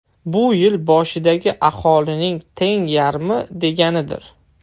Bu yil boshidagi aholining teng yarmi deganidir.